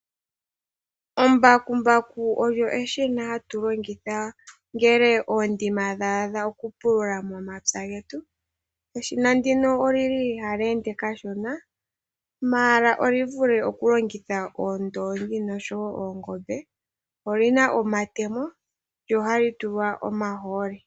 Embakumbaku olyo eshina hatu longitha ngele oondima dha adha, okupulula momapya getu. Eshina ndika ohali ende kashona, ashike oli vule okulongitha oondoongi noshowo oongombe. Oli na omatemo nohali tulwa omahooli.